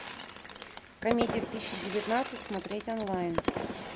комедии тысяча девятнадцать смотреть онлайн